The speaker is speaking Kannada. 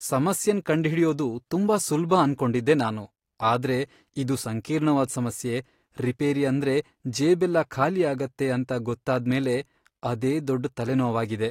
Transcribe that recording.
ಸಮಸ್ಯೆನ್ ಕಂಡ್ಹಿಡ್ಯೋದ್ ತುಂಬಾ ಸುಲ್ಭ ಅನ್ಕೊಂಡಿದ್ದೆ ನಾನು, ಆದ್ರೆ ಇದು ಸಂಕೀರ್ಣವಾದ್ ಸಮಸ್ಯೆ, ರಿಪೇರಿ ಅಂದ್ರೆ ಜೇಬೆಲ್ಲ ಖಾಲಿಯಾಗತ್ತೆ ಅಂತ ಗೊತ್ತಾದ್ಮೇಲೆ ಅದೇ ದೊಡ್ಡ್ ತಲೆನೋವಾಗಿದೆ.